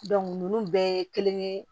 ninnu bɛɛ ye kelen ye